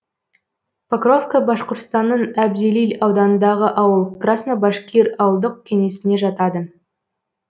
покровка башқұртстанның әбзелил ауданындағы ауыл краснобашкир ауылдық кеңесіне жатады